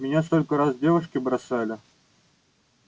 меня столько раз девушки бросали